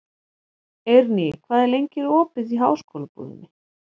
Eirný, hvað er lengi opið í Háskólabúðinni?